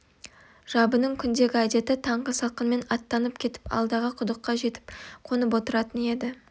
жабының күндегі әдеті таңғы салқынмен аттанып кетіп алдағы құдыққа жетіп қонып отыратын еді